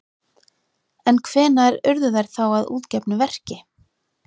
En hvenær urðu þær þá að útgefnu verki?